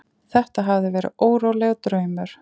Þetta hafði verið órólegur draumur.